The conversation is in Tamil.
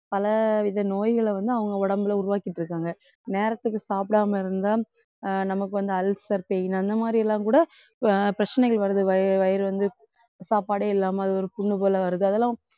பலவித நோய்களை வந்து அவங்க உடம்புல உருவாக்கிட்டிருக்காங்க. நேரத்துக்கு சாப்பிடாம இருந்தா நமக்கு வந்து ulcer pain அந்த மாதிரி எல்லாம் கூட அஹ் பிரச்சனைகள் வருது வய~ வயிறு வந்து சாப்பாடே இல்லாம அது ஒரு புண்ணு போல வருது அதெல்லாம்